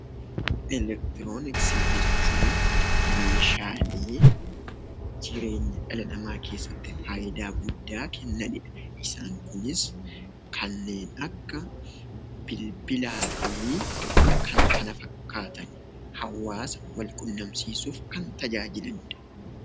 Elektirooniksii jechuun meeshaalee jireenya dhala namaa keessatti faayidaa guddaa kennanidha. Isaan kunis kanneen akka bilbilaafi Kan kana fakkaatani hawaasa qunnamsiisuuf Kan tajaajilanidha